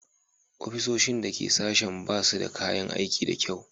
Ofisoshin da ke sashena ba su da kayan aiki da kyau